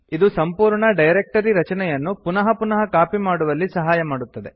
ಇದು ಸಂಪೂರ್ಣ ಡೈರಕ್ಟರಿ ರಚನೆಯನ್ನು ಪುನಃ ಪುನಃ ಕಾಪಿ ಮಾಡುವಲ್ಲಿ ಸಹಾಯ ಮಾಡುತ್ತದೆ